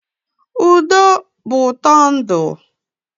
Udo bụ ụtọ ndụ.